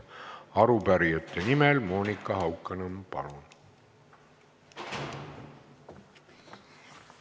Arupärijate nimel Monika Haukanõmm, palun!